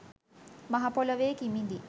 මහ පොළොවේ කිමිදී